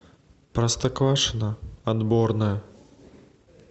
простоквашино отборное